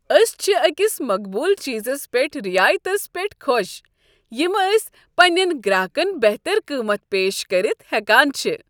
أسۍ چھ أکس مقبوٗل چیزس پٮ۪ٹھ رعایتس پٮ۪ٹھ خۄش ، یم ٲسہِ پنین گراہكن بہتر قۭمتھ پیش كٔرتھ ہیكان چھ۔